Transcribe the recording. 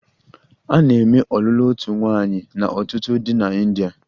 A na-eme ọlụlụ otu nwaanyị na ọtụtụ di na India.